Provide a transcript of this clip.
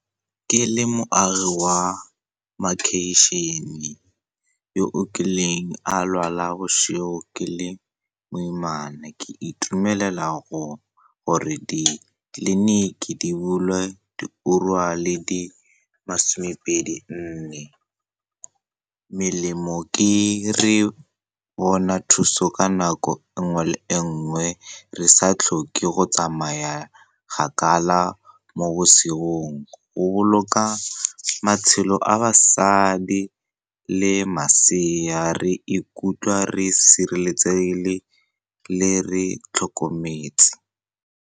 Ke le moagi wa makeišene yo o kileng a lwala bosigo ke le moimane, ke itumelela gore ditleliniki di bulwe diura le di masomepedi-nne. Melemo ke re bona thuso ka nako nngwe le e nngwe, re sa tlhoke go tsamaya kgakala mo bosigong. Go boloka matshelo a basadi le masea, re ikutlwa re sireletsegile le re tlhokometse.